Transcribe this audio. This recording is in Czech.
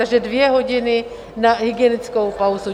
Takže dvě hodiny na hygienickou pauzu.